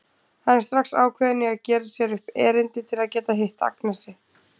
Hann er strax ákveðinn í að gera sér upp erindi til að geta hitt Agnesi.